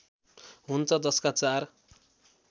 हुन्छ जसका चार